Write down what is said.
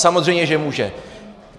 Samozřejmě že může.